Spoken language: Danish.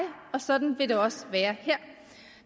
og sådan vil det også være her